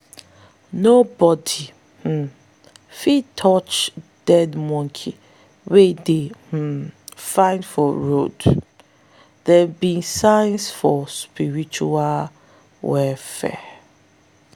nobody um fit touch dead monkey wey dey um find for road - them be signs for spiritual warfare.